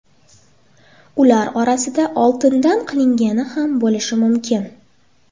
Ular orasida oltindan qilingani ham bo‘lishi mumkin.